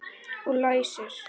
Og læsir.